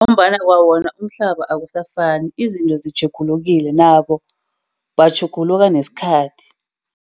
Ngombana kwawona umhlaba awusafani, izinto zitjhugulukile. Nabo batjhuguluka nesikhathi.